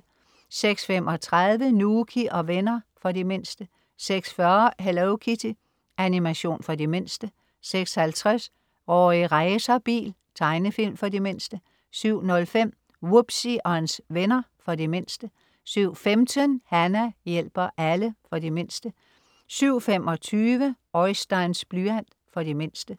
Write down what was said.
06.35 Nouky og venner. For de mindste 06.40 Hello Kitty. Animation for de mindste 06.50 Rorri Racerbil. Tegnefilm for de mindste 07.05 Wubbzy og hans venner. For de mindste 07.15 Hana hjælper alle. For de mindste 07.25 Oisteins blyant. For de mindste